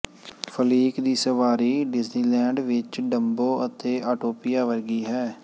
fleek ਦੀ ਸਵਾਰੀ Disneyland ਵਿੱਚ ਡਮਬੋ ਅਤੇ ਆਟੋਪਿਆ ਵਰਗੀ ਹੈ